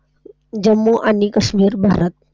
जम्मू आणि काश्मीर भारत.